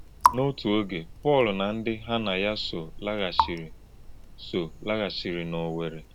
N’òtù̄ ògé̄, Pọ̄l na ndị́ hà̄ na yá sò̄ làghàchì̄rì̄ sò̄ làghàchì̄rì̄ n’Òwè̄rrì̄.